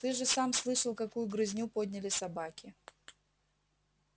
ты же сам слышал какую грызню подняли собаки